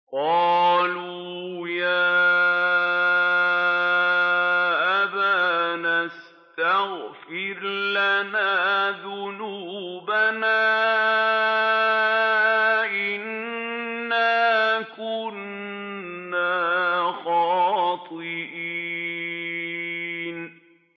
قَالُوا يَا أَبَانَا اسْتَغْفِرْ لَنَا ذُنُوبَنَا إِنَّا كُنَّا خَاطِئِينَ